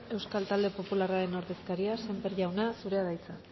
euskal talde popularraren ordezkaria sémper jauna zurea da hitza